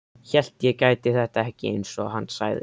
Hélt ég gæti þetta ekki, einsog hann sagði.